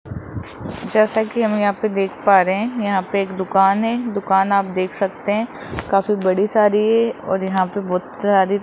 जैसे की हम यहां पे देख पा रहे है यहां पे एक दुकान है दुकान आप देख सकते है काफी बड़ी सारी है और यहां पे बहुत सारी --